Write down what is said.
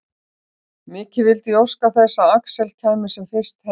Mikið vildi ég óska þess að Axel kæmi sem fyrst heim.